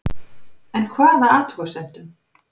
En hvaða athugasemdum